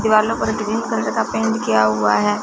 दीवालों पर green colour का पेंट किया हुआ है।